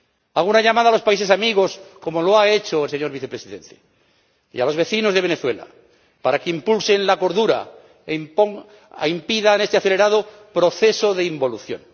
Hago una llamada a los países amigos, como lo ha hecho el señor Vicepresidente, y a los vecinos de Venezuela, para que impulsen la cordura e impidan este acelerado proceso de involución.